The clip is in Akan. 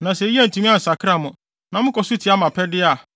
“ ‘Na sɛ eyi antumi ansakra mo, na mokɔ so tia mʼapɛde a,